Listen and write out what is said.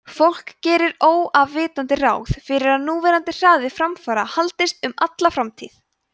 fólk gerir óafvitandi ráð fyrir að núverandi hraði framfara haldist um alla framtíð